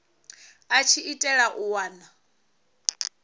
a tshi itela u wana